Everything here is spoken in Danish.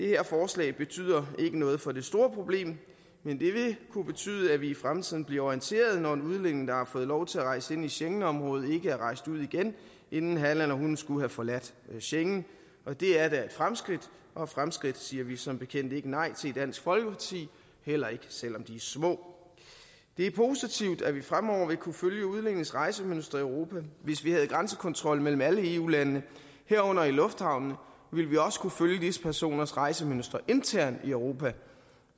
her forslag betyder ikke noget for det store problem men det vil kunne betyde at vi i fremtiden bliver orienteret når en udlænding der har fået lov til at rejse ind i schengenområdet ikke er rejst ud igen inden han eller hun skulle have forladt schengen og det er da et fremskridt og fremskridt siger vi som bekendt ikke nej til i dansk folkeparti heller ikke selv om de er små det er positivt at vi fremover vil kunne følge udlændinges rejsemønstre i europa og hvis vi havde grænsekontrol mellem alle eu landene herunder i lufthavnene ville vi også kunne følge visse personers rejsemønstre internt i europa